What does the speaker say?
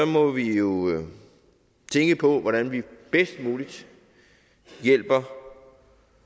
må vi jo tænke på hvordan vi bedst muligt hjælper